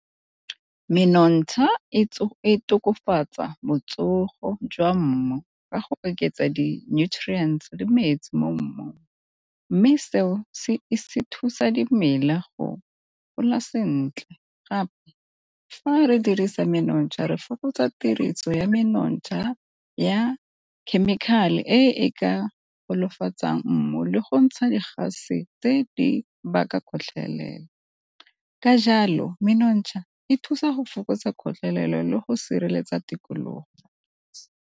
Menontsha e tokafatsa botsogo jwa mmu ka go oketsa di-nutriants le metsi mo mmung, mme seo se thusa dimela go gola sentle gape fa re dirisa menontsha re fokotsa tiriso ya menontsha ya chemical-e e ka nolofatsang mmu le go ntsha di gase tse di baka gotlhelelo. Ka jalo menontsha e thusa go fokotsa kgotlelelo le go sireletsa tikologo.